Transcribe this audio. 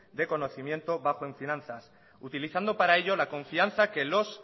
de conocimiento bajo en finanzas utilizando para ello la confianza que los